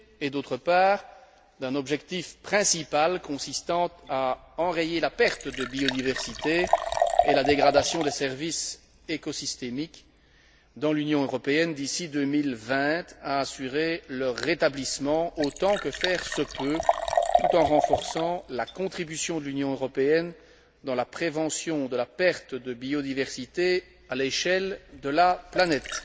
Il a par ailleurs fixé un objectif principal consistant à enrayer la perte de biodiversité et la dégradation des services écosystémiques dans l'Union européenne d'ici 2020, à assurer leur rétablissement autant que faire se peut, tout en renforçant la contribution de l'Union européenne à la prévention de la perte de biodiversité à l'échelle de la planète.